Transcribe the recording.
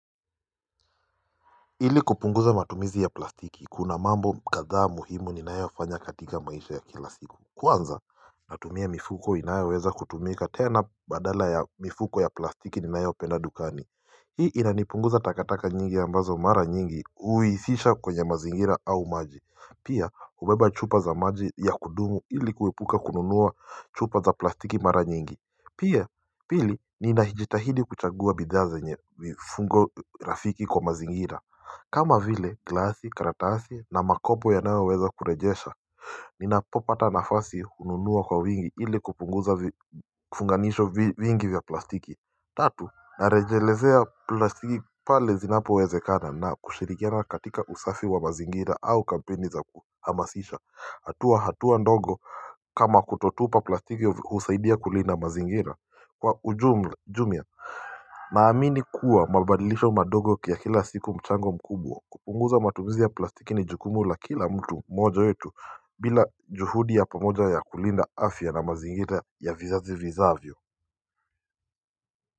Ili kupunguza matumizi ya plastiki kuna mambo kadhaa muhimu ninayofanya katika maisha ya kila sikum Kwanza natumia mifuko inayoweza kutumika tena badala ya mifuko ya plastiki ninayopenda dukani. Hii inanipunguza takataka nyingi ambazo mara nyingi uhisisha kwenye mazingira au maji. Pia hubeba chupa za maji ya kudumu ili kuepuka kununua chupa za plastiki mara nyingi. Pia pili ninajitahidi kuchagua bidhaa zenye mifungo rafiki kwa mazingira kama vile glasi karatasi na makopo yanayoweza kurejesha Ninapopata nafasi hununua kwa wingi ili kupunguza vifunganisho vingi vya plastiki. Tatu, Narejelezea plastiki pale zinapowezekana na kushirikiana katika usafi wa mazingira au kampeni za kuhamasisha hatua hatua ndogo kama kutotupa plastiki husaidia kulinda mazingira kwa ujumla Naamini kuwa mabadilisho madogo kia kila siku mchango mkubwa kupunguza matumizi ya plastiki ni jukumu la kila mtu moja wetu bila juhudi ya pamoja ya kulinda afya na mazingira ya vizazi vizavyo.